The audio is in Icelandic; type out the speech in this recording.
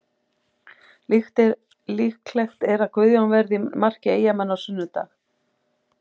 Líklegt er að Guðjón verði í marki Eyjamanna á sunnudag.